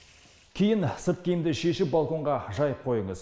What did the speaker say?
кейін сырт киімді шешіп балконға жайып қойыңыз